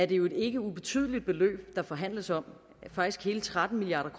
det jo et ikke ubetydeligt beløb der forhandles om faktisk hele tretten milliard